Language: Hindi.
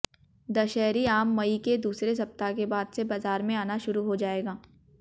दशहरी आम मई के दूसरे सप्ताह के बाद से बाजार में आना शुरू हो जाएगा